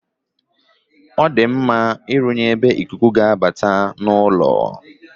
Ọ dị mma ịrụnye ebe ikuku ga-abata n'ụlọ.